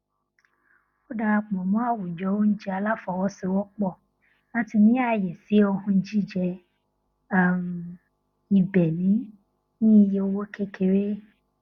ó darapọ mọ àwùjọ oúnjẹ aláfọwọsowọpọ láti ní ààyè sí ohun jíjẹ um ìbéènì ní iye owó kékeré